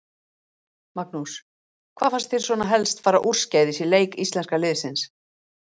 Magnús: Hvað fannst þér svona helst fara úrskeiðis í leik íslenska liðsins?